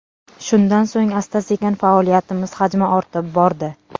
Shundan so‘ng asta-sekin faoliyatimiz hajmi ortib bordi.